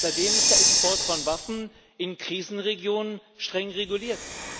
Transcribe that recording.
Seitdem ist der Export von Waffen in Krisenregionen streng reguliert.